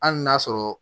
Hali n'a sɔrɔ